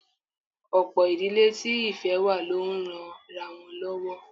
Ọ̀pọ̀ ìdílé tí ìfẹ́ wà ló ń ranra wọn lọ́wọ́